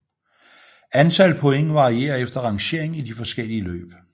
Antal point varierer efter rangering i de forskellige løb